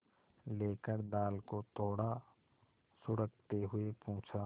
लेकर दाल को थोड़ा सुड़कते हुए पूछा